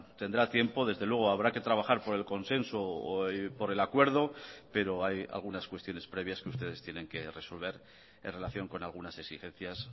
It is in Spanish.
tendrá tiempo desde luego habrá que trabajar por el consenso o por el acuerdo pero hay algunas cuestiones previas que ustedes tienen que resolver en relación con algunas exigencias